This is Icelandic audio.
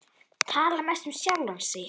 Tala mest um sjálfan sig.